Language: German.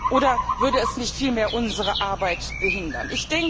Oder würde es nicht vielmehr unsere Arbeit behindern?